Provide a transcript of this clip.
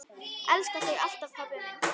Elska þig alltaf, pabbi minn.